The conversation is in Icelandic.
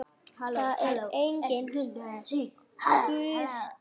Það er enginn Guð til.